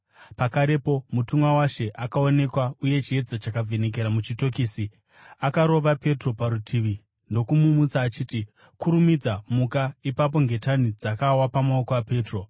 Pakarepo mutumwa waShe akaonekwa uye chiedza chakavhenekera muchitokisi. Akarova Petro parutivi ndokumumutsa achiti, “Kurumidza muka!” Ipapo ngetani dzakawa pamaoko aPetro.